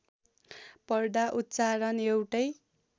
पढ्दा उच्चारण एउटै